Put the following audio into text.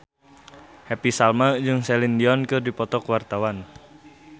Happy Salma jeung Celine Dion keur dipoto ku wartawan